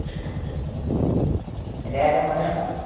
എൻറ്റെ കാര്യം പറയണ്ട